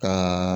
Ka